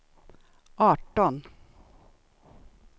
arton